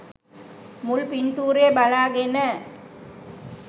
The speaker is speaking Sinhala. මුල් පින්තූරය බලාගෙන